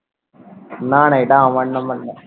না না, এটা আমার নম্বর নেই